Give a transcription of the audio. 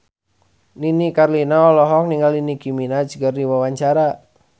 Nini Carlina olohok ningali Nicky Minaj keur diwawancara